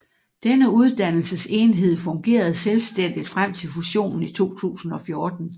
Denne uddannelsesenhed fungerede selvstændigt frem til fusionen i 2014